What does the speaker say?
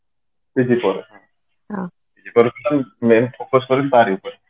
PG ପରେ total main focus ତାରି ଉପରେ